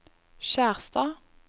Skjerstad